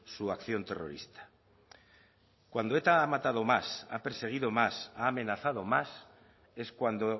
su acción terrorista cuando eta ha matado más ha perseguido más ha amenazado más es cuando